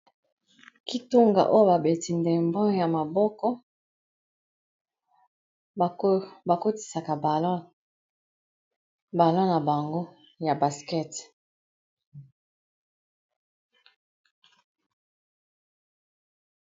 kitunga oyo babeti ndembo ya maboko bakotisaka balo na bango ya baskete